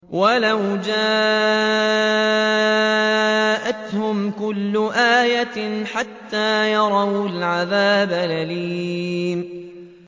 وَلَوْ جَاءَتْهُمْ كُلُّ آيَةٍ حَتَّىٰ يَرَوُا الْعَذَابَ الْأَلِيمَ